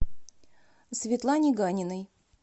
светлане ганиной